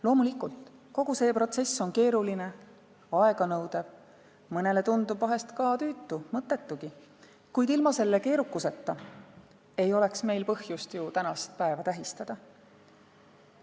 Loomulikult, kogu see protsess on keeruline ja aeganõudev, mõnele tundub vahel ka tüütu, mõttetugi, kuid ilma selle keerukuseta ei oleks meil ju põhjust tänast päeva tähistada.